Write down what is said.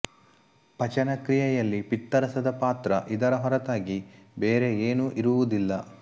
ಪಚನ ಕ್ರಿಯೆಯಲ್ಲಿ ಪಿತ್ತರಸದ ಪಾತ್ರ ಇದರ ಹೊರತಾಗಿ ಬೇರೆ ಏನೂ ಇರುವುದಿಲ್ಲ